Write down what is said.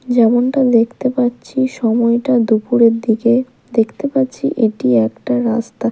যেমনটা দেখতে পাচ্ছি সময়টা দুপুরের দিকে দেখতে পাচ্ছি এটি একটা রাস্তা।